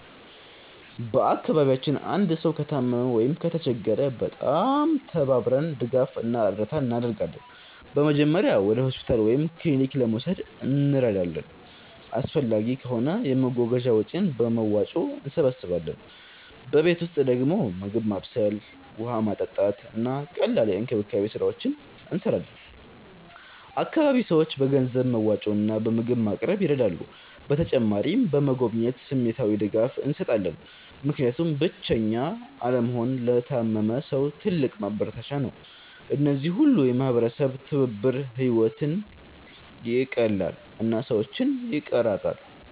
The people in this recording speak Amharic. በአካባቢያችን አንድ ሰው ከታመመ ወይም ከተቸገረ በጣም ተባብረን ድጋፍ እና እርዳታ እናደርጋለን። በመጀመሪያ ወደ ሆስፒታል ወይም ክሊኒክ ለመውሰድ እንረዳለን፣ አስፈላጊ ከሆነ የመጓጓዣ ወጪን በመዋጮ እንሰብስባለን። በቤት ውስጥ ደግሞ ምግብ ማብሰል፣ ውሃ ማመጣት፣ እና ቀላል የእንክብካቤ ስራዎች እንሰራለን። አካባቢ ሰዎች በገንዘብ መዋጮ እና በምግብ ማቅረብ ይረዳሉ። በተጨማሪም በመጎብኘት ስሜታዊ ድጋፍ እንሰጣለን፣ ምክንያቱም ብቸኛ አለመሆን ለታመመ ሰው ትልቅ ማበረታቻ ነው። እነዚህ ሁሉ የማህበረሰብ ትብብር ሕይወትን ይቀላል እና ሰዎችን ይቀራራል።